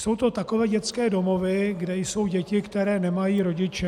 Jsou to takové dětské domovy, kde jsou děti, které nemají rodiče.